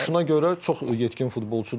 Yəni yaşına görə çox yetkin futbolçudur.